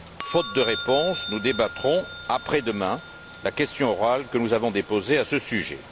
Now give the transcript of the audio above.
Faute de réponse, nous débattrons après demain la question orale que nous avons déposée à ce sujet.